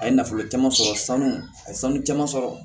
A ye nafolo caman sɔrɔ sanu a ye sanu caman sɔrɔ